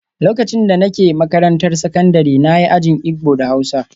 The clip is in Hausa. Lokacin da nake makarantar sakandare na yi ajin Igbo da Hausa